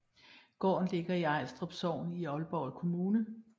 Gården ligger i Ajstrup Sogn i Aalborg Kommune